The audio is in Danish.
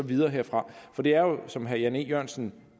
videre herfra for det er jo som herre jan e jørgensen